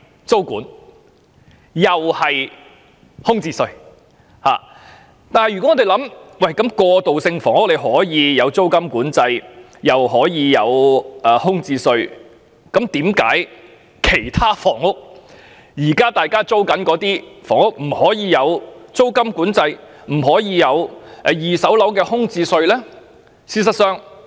市民會問道，如果政府就過渡性房屋推行租金管制及空置稅，為何政府不就市民現時租住的其他房屋推行租金管制，甚或二手樓宇空置稅呢？